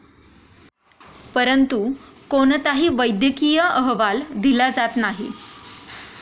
परंतु कोणताही वैद्यकीय अहवाल दिला जात नाही.